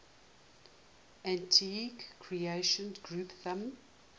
antigua recreation ground thumb